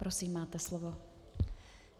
Prosím, máte slovo.